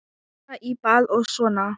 Fara í bað og svona.